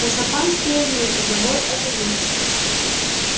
но шампанское явилось разговор оживился